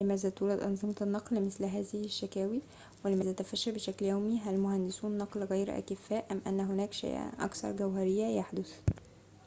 لماذا تولد أنظمة النقل مثل هذه الشكاوى ولماذا تفشل بشكل يومي هل مهندسو النقل غير أكفاء أم أن هناك شيئاً أكثر جوهرية يحدث